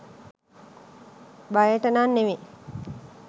බයට නම් නෙවෙයි.